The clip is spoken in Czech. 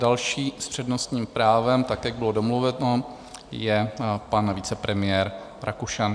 Další s přednostním právem tak, jak bylo domluveno, je pan vicepremiér Rakušan.